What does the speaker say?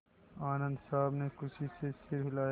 आनन्द साहब ने खुशी से सिर हिलाया